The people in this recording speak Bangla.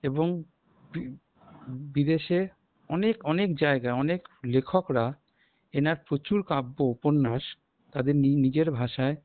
এবং বি বিদেশের অনেক অনেক জায়গায় অনেক লেখকরা এনার প্রচুর কাব্য উপন্যাস তাদের নি নিজের ভাষায়